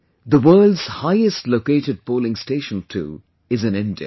The world's highest located polling station too, is in India